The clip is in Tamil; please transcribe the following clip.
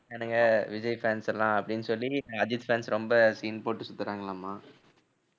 ~றானுங்க விஜய் fans எல்லாம் அப்படின்னு சொல்லி அஜித் fans ரொம்ப scene போட்டு சுத்தறானுங்கலாமா.